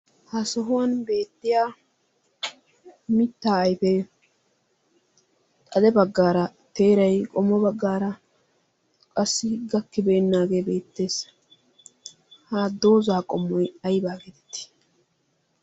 ha sohuwan beettiya mitta aife xade baggaara teerai qommo baggaara qassi gakkibeennaagee beettees. haddoozaa qommoi aibaa geetetti?